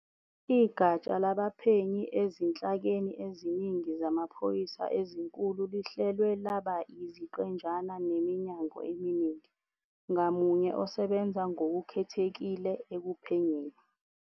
Igatsha labaphenyi ezinhlakeni eziningi zamaphoyisa ezinkulu lihlelwe laba yiziqenjana neminyango eminingi, ngamunye osebenza ngokukhethekile ekuphenyeni